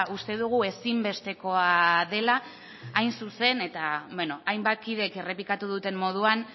uste dugu ezinbesteko dela hain zuzen eta bueno hainbat kidek errepikatu duten moduan